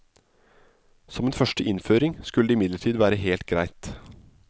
Som en første innføring skulle det imidlertid være helt greit.